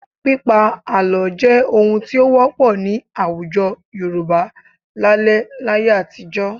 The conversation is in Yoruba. Pípa àlọ́ jẹ́ ohun tí ó wọ́pọ̀ ní àwùjọ Yorùbá lálẹ́ láyé àtijọ́